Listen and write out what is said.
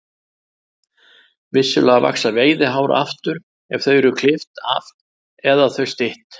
Vissulega vaxa veiðihár aftur ef þau eru klippt af eða þau stytt.